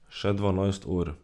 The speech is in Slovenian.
Še dvanajst ur.